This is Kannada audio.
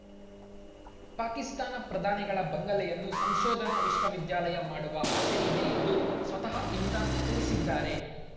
ಪಾಕಿಸ್ತಾನ ಪ್ರಧಾನಿಗಳ ಬಂಗಲೆಯನ್ನು ಸಂಶೋಧನಾ ವಿಶ್ವವಿದ್ಯಾಲಯ ಮಾಡುವ ಆಸೆ ಇದೆ ಎಂದು ಸ್ವತಃ ಇಮ್ರಾನ್‌ ತಿಳಿಸಿದ್ದಾರೆ